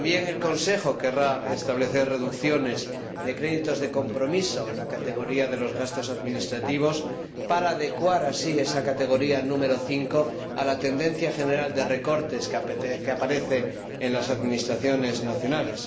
El Consejo también querrá establecer reducciones de créditos de compromiso en la categoría de los gastos administrativos para adecuar así esa categoría nº 5 a la tendencia general de recortes que aparece en las administraciones nacionales.